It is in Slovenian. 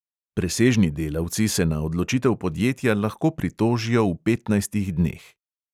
Presežni delavci se na odločitev podjetja lahko pritožijo v petnajstih dneh.